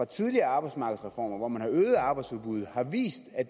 tidligere arbejdsmarkedsreformer hvor man har øget arbejdsudbuddet har vist at